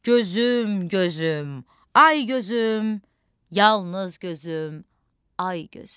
Gözüm, gözüm, ay gözüm, yalnız gözüm, ay gözüm.